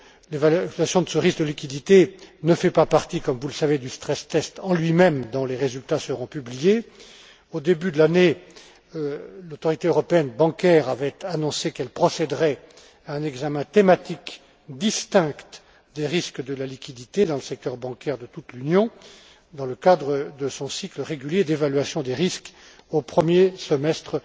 L'évaluation de ce risque de liquidité ne fait pas partie, comme vous le savez, du stress test en lui même, dont les résultats seront publiés. Au début de l'année, l'Autorité bancaire européenne avait annoncé qu'elle procéderait à un examen thématique distinct des risques de la liquidité dans le secteur bancaire de toute l'Union dans le cadre de son cycle régulier d'évaluation des risques au premier semestre